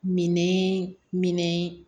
Minɛn minɛ